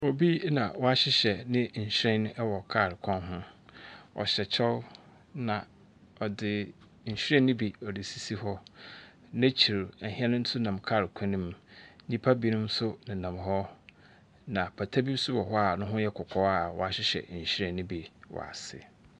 Obi na wahyehyɛ nhyiren ɛwɔ kaal kwan ho. Ɔhyɛ kyɛw na ɔdi nhyiren no bi esisi hɔ. N'akyir ɛhɛn nso nam kaal kwan ne mu, nipa bi nom nso ne nam hɔ na apata be ne ho yɛ kɔkɔɔ a w'ahyehyɛ nhyiren ne bi w'ase.